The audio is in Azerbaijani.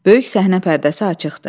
Böyük səhnə pərdəsi açıqdır.